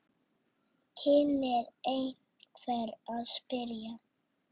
kynni einhver að spyrja.